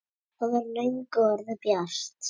Það var löngu orðið bjart.